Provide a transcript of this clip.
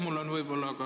Aitäh!